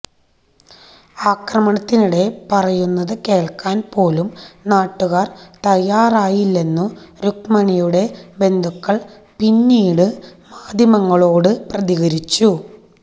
അക്രമത്തിനിടെ പറയുന്നതു കേള്ക്കാന് പോലും നാട്ടുകാര് തയാറായില്ലെന്നു രുക്മണിയുടെ ബന്ധുക്കള് പിന്നീടു മാധ്യമങ്ങളോടു പ്രതികരിച്ചു